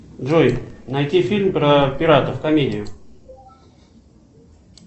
джой найти фильм про пиратов комедию